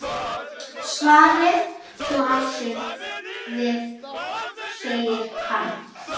Svarið blasir við, segir hann.